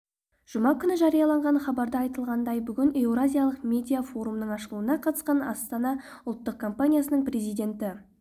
жұма күні жарияланған хабарда айтылғандай бүгін еуразиялық медиа форумның ашылуына қатысқан астана ұлттық компаниясының президенті